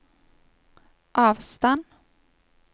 avstand